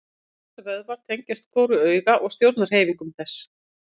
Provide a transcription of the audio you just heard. Sex vöðvar tengjast hvoru auga og stjórna hreyfingum þess.